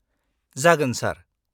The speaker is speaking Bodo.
-जागोन, सार।